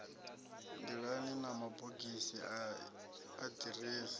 nḓilani na mabogisi a aḓirese